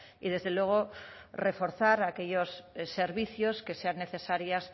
y desde luego reforzar aquellos servicios que sean necesarios